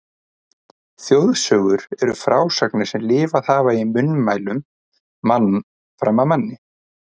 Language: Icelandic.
Þjóðsögur eru frásagnir sem lifað hafa í munnmælum mann fram af manni.